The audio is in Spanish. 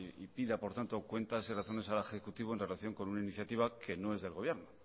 y pida por tanto cuentas y razones al ejecutivo en relación con una iniciativa que no es del gobierno